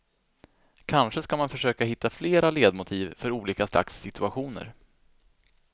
Kanske ska man försöka hitta flera ledmotiv för olika slags situationer.